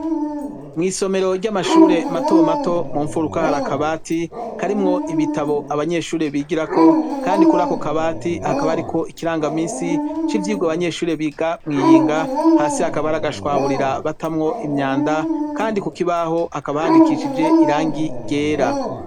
Mw'isomero ry'amashure mato mato mu mfuruka hari akabati karimwo ibitabo abanyeshure bigirako kandi kuri ako kabati akaba ariko ikirangaminsi c'ivyigwa abanyeshure biga mw'iyinga hasi akaba hari agashwaburira batamwo imyanda kandi ku kibaho akaba handikishije irangi ryera.